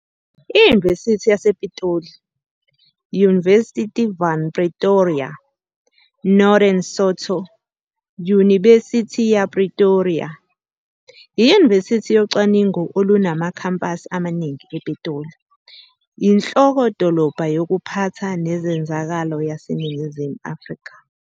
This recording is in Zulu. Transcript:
I-Univesithi yase Pitoli, Universiteit van Pretoria, Northern Sotho Yunibesithi ya Pretoria, iyunivesithi yocwaningo olunamakhampasi amaningi ePitoli, inhloko-dolobha yokuphatha nezenzakalo yaseNingizimu Afrika.